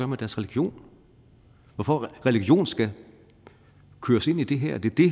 med deres religion og at religion skal køres ind i det her er det